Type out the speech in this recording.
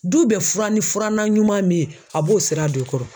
Du bɛ fura ni furanna ɲuman min ye a b'o sira don i kɔrɔ.